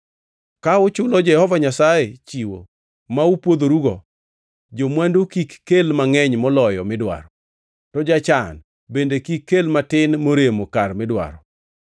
Ka uchulo Jehova Nyasaye chiwo ma upwodhorugo, jo-mwandu kik kel mangʼeny moloyo midwaro, to jachan bende kik kel matin moremo kar midwaro.